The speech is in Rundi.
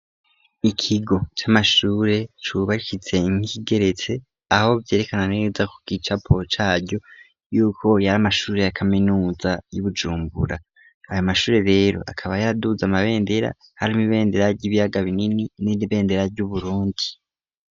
Ikigo c'amashure cubakitse nk'igeretse, aho vyerekana neza ku kicapo caryo, yuko yari amashuri ya kaminuza y'i Bujumbura. Ayo mashuri rero akaba yaraduze amabendera. Hari ibendera ry'ibiyaga binini n'ibendera ry'Uburundi.